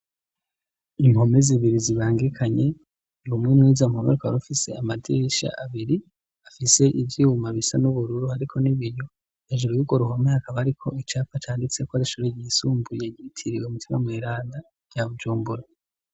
Impome zibiri zibangikanye rumwe mwizo mpome rukaba rufise amadirisha abiri afise ivyuma bisa n'ubururu ariko n'ibiyo, hejuru yurwo ruhome hakaba hariko icapa canditseko ishure ryisumbuye ryitiriwe mutima mweranda rya Bujumbura.